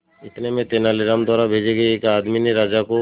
इतने में तेनालीराम द्वारा भेजे गए एक आदमी ने राजा को